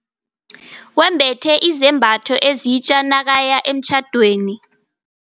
Wembethe izambatho ezitja nakaya emtjhadweni.